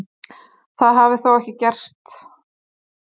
Það hafi þó ekkert gerst.